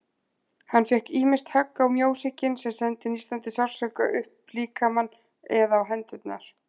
Hann fékk ýmist högg á mjóhrygginn, sem sendi nístandi sársauka upp líkamann, eða á hendurnar.